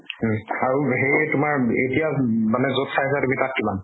উম আৰু হেৰি তোমাৰ এতিয়া উম মানে যত চাই আছা তুমি, তাত কিমান?